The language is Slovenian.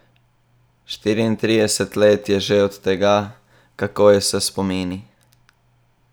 Štiriintrideset let je že od tega, kako je s spomini?